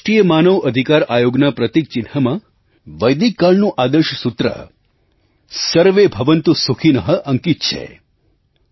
આપણા રાષ્ટ્રીય માનવ અધિકાર આયોગના પ્રતીક ચિહ્નમાં વૈદિક કાળનું આદર્શ સૂત્ર न्यायमूसर्वे भवन्तु सुखिनः અંકિત છે